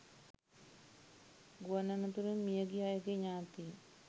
ගුවන් අනතුරින් මිය ගිය අයගේ ඥාතීන්